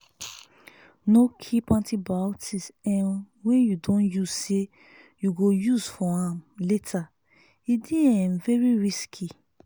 no keep antibiotics um wey u don use say you go use am later e dey um very risky